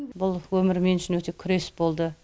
бұл өмір мен үшін өте күрес болды